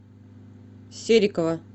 серикова